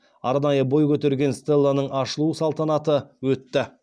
арнайы бой көтерген стеланың ашылу салтаны өтті